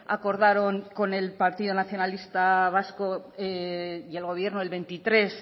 acordaron con el partido nacionalista vasco y el gobierno el veintitrés